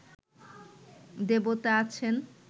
দেবতা আছেন